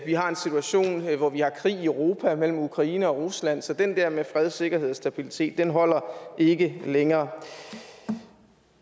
vi har en situation hvor vi har krig i europa mellem ukraine og rusland så den der med fred sikkerhed og stabilitet holder ikke længere